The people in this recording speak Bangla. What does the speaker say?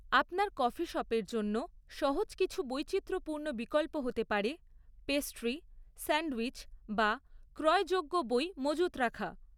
আপনার কফি শপের জন্য সহজ কিছু বৈচিত্র্যপূর্ণ বিকল্প হতে পারে পেস্ট্রি, স্যান্ডউইচ বা ক্রয়যোগ্য বই মজুত রাখা।